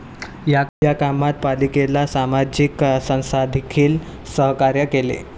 या कामात पालिकेला सामाजिक संस्थांनीदेखील सहकार्य केले.